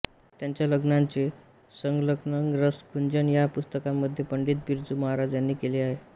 त्यांच्या रचनांचे संकलन रस गुंजन या पुस्तकामध्ये पंडित बिरजू महाराज यांनी केले आहे